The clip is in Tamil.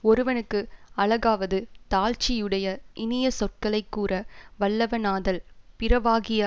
ஒருவனுக்கு அழகாவது தாழ்ச்சி யுடைய இனிய சொற்களை கூற வல்லவனாதல் பிறவாகிய